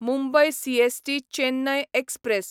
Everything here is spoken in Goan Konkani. Mumbai CST Chennai express